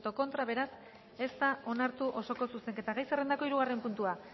contra beraz ez da onartu osoko zuzenketa gai zerrendako hirugarren puntua